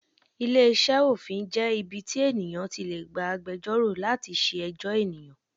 Ilé iṣẹ́ òfin jẹ́ ibi tí ènìyàn ti lè gba agbẹjọ́rò láti ṣe ẹjọ́ ènìyàn.